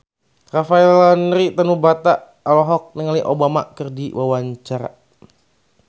Rafael Landry Tanubrata olohok ningali Obama keur diwawancara